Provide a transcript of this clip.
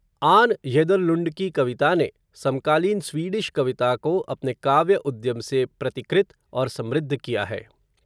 आन येदरलुण्ड की कविता ने, समकालीन स्वीडिश कविता को, अपने काव्य उद्यम से, प्रतिकृत, और समृद्ध किया है